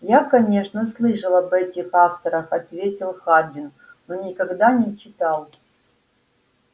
я конечно слышал об этих авторах ответил хардин но никогда не читал